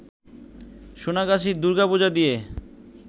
সোনাগাছির দূর্গাপুজো দিয়ে